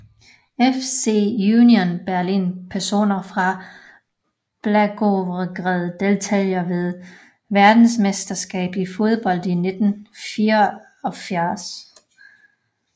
FC Union Berlin Personer fra Blagoevgrad Deltagere ved verdensmesterskabet i fodbold 1994